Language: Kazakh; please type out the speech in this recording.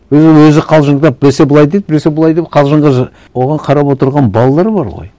өй ол өзі қалжыңдап біресе былай дейді біресе былай дейді қалжыңға оған қарап отырған балалар бар ғой